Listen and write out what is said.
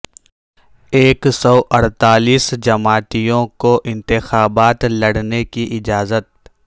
ایک سو اڑتالیس جماعتوں کو انتخابات لڑنے کی اجازت